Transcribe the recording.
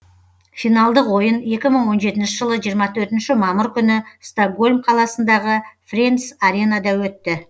финалдық ойын екі мың он жетінші жылы жиырма төртінші мамыр күні стокгольм қаласындағы френдс аренада өтті